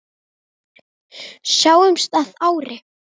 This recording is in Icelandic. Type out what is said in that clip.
Sjáumst að ári.